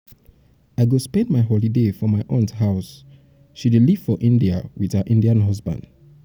i go spend my holiday for my aunt house she dey live for india with her indian husband